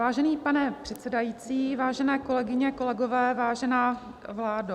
Vážený pane předsedající, vážené kolegyně, kolegové, vážená vládo.